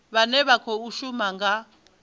vhane vha khou shuma nga